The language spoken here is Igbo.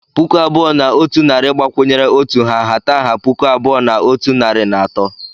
Puku abụọ na otu narị abụọ gbakwunyere otu ha nhata puku abụọ na otu narị na atọ.